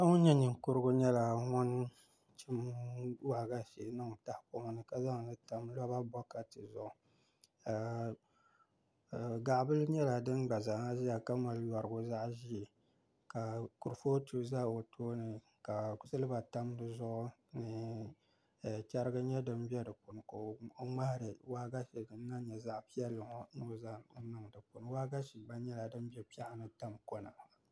Paɣa ŋun nyɛ ninkurigu nyɛla ŋun chim waagashe niŋ tahapoŋ ni ka zaŋli tam roba bokati zuɣu gaɣa bili nyɛla din gba zaaha ʒɛya ka mali yorigu zaɣ ʒiɛ ka kurifooti ʒɛ o tooni ka silba tam di zuɣu ni chɛrigi nyɛ din bɛ di puuni ka o ŋmahari waagashe din nyɛ zaɣ piɛlli ŋo ni o zaŋ niŋ di puuni waagashe gba bɛ piɛɣu ni tam kona